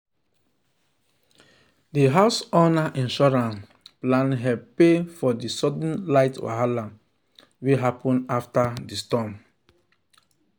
the house owner insurance plan help pay for the sudden light wahala wey wey happen after the storm.